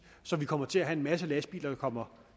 så vi kommer til at have en masse lastbiler der kommer